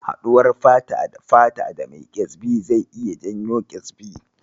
Haɗuwar fata-da-fata da mai ƙyezbi zai iya janyo ƙyezbi.